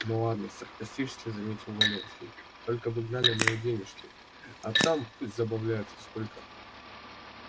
ну ладно саркастически заметил валенский только бы гнали мои денежки а там пусть забавляются сколько